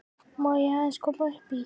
Má ég aðeins koma upp í?